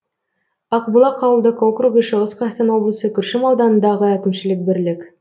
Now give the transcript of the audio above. ақбұлақ ауылдық округі шығыс қазақстан облысы күршім ауданындағы әкімшілік бірлік